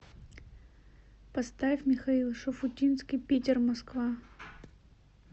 поставь михаил шуфутинский питер москва